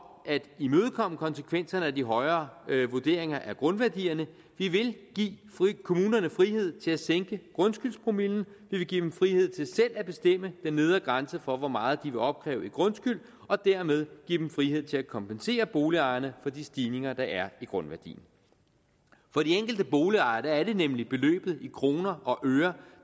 at imødekomme konsekvenserne af de højere vurderinger af grundværdierne vi vil give kommunerne frihed til at sænke grundskyldspromillen vi vil give dem frihed til selv at bestemme den nedre grænse for hvor meget de vil opkræve i grundskyld og dermed give dem frihed til at kompensere boligejerne for de stigninger der er i grundværdien for de enkelte boligejere er det nemlig beløbet i kroner og øre